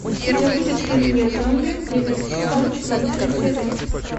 у тебя будет фильм я зомби девятый сезон четвертая серия